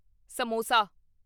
samosa